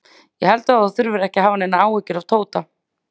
Ég held þú þurfir ekki að hafa neinar áhyggjur af Tóta.